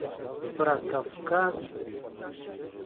про кавказ